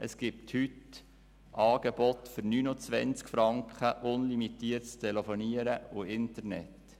Es gibt heute aber Angebote für 29 Franken und zwar mit unlimitiertem Telefonieren und Internet.